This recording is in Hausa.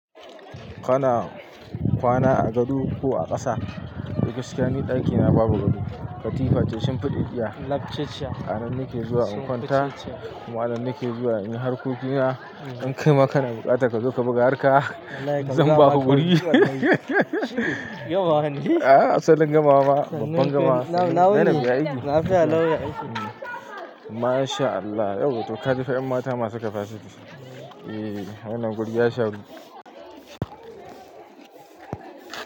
Kana kwana a gado ko a ƙasa? To gaskiya ni ɗakina babu gado. Katifa ce shinfideɗiya labceciya. Anan nake zuwa in kwanta kuma anan nake zuwa in yi harkokina. In kai ma kana buƙata ka zo ka buga harka. Zan ba ku guri. Gama bane. A'a asalin gamawa ba, babban gamawa. Nan na yi aiki. Na fiya nan ya aiki. Masha Allah. Yau to ka ji fa'in mata masu kafa ciki. Eee, wannan gurgiya shanu.